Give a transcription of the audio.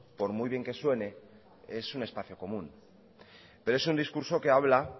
por muy bien que suene es un espacio común pero es un discurso que habla